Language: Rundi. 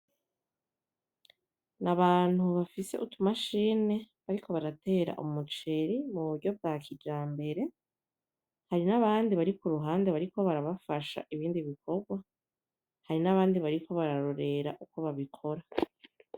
Nabantu bafise utumashine bariko baratera umuceri muburyo bwa kijambere, hari nabandi bari kuruhande bariko barabafasha ibindi bikorwa. hari nabandi bariko bararorera uko babikora .